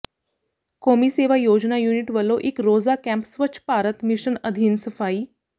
ਕੌਮੀ ਸੇਵਾ ਯੋਜਨਾ ਯੂਨਿਟ ਵਲੋਂ ਇਕ ਰੋਜ਼ਾ ਕੈਂਪ ਸਵੱਛ ਭਾਰਤ ਮਿਸ਼ਨ ਅਧੀਨ ਸਫ਼ਾਈ